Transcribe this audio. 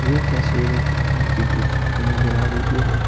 यह तस्वीर एक पहाड़ की गुफा की नजर आ रही है।